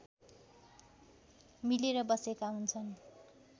मिलेर बसेका हुन्छन्